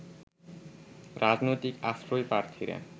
রাজনৈতিক আশ্রয়প্রার্থীরা